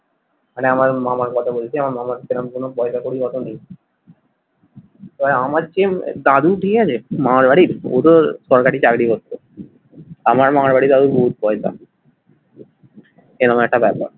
মানে আমার মামার কথা বলছি আমার মামার সেরম কোনো পয়সা করি ওতো নেই। ওই আমার চেয়ে দাদু ঠিক আছে মামার বাড়ির, ও তো সরকারি চাকরি করতো আমার মামার বাড়ির দাদুর বহুত পয়সা, এরকম একটা ব্যাপার।